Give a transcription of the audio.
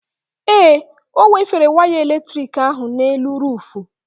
Ee, ọ wefere waya eletrik ahụ n'elu ruufu.